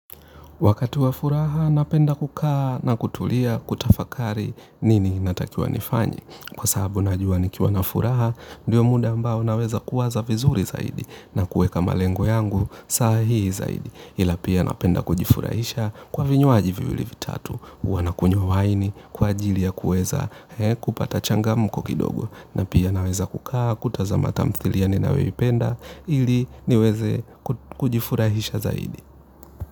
Wakati wa furaha napenda kukaa na kutulia kutafakari nini natakiwa nifanye. Kwa sababu najua nikiwa na furaha ndiyo muda ambao naweza kuwaza vizuri zaidi na kuweka malengo yangu saa hii zaidi. Ila pia napenda kujifurahisha kwa vinywaji viwili vitatu, huwa nakunywa wine kwa ajili ya kuweza kupata changamko kidogo. Na pia naweza kukaa kutazama tamthilia ninayoipenda ili niweze kujifurahisha zaidi.